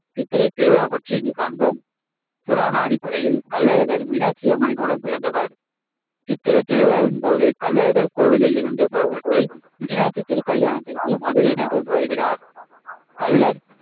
சித்திரை திருவிழா பற்றி இங்கு காண்போம் புராண அடிப்படையில் கள்ளழகர் மீனாட்சியம்மனின் உடன்பிறந்தவர் சித்திரைத் திருவிழாவின்போது, கள்ளழகர் கோவிலிலிருந்து புறப்பட்டு மீனாட்சி திருக்கல்யாணத்திற்கு மதுரை நகருக்கு வருகிறார் கள்ளர்